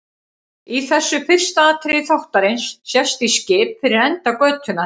Í þessu fyrsta atriði þáttarins sést í skip fyrir enda götunnar.